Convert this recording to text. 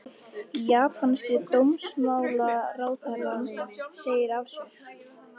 Japanski dómsmálaráðherrann segir af sér